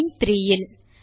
line 3 will